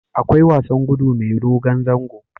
Akwai wasan gudu mai dogon zango